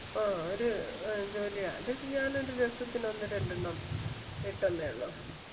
ആഹ് ഒര് അഹ് ജോലിയാ അത് ഞാൻ ഒരു രസത്തിന് ഒന്ന് രണ്ടെണ്ണം ഇട്ടെന്നേ ഒള്ളു.